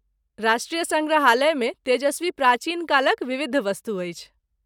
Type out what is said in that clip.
राष्ट्रीय सङ्ग्रहालयमे तेजस्वी प्राचीन कालक विविध वस्तु अछि।